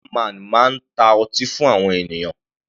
Bar man máa ta ọtí fún àwọn ènìyàn.